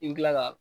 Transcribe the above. I bi kila ka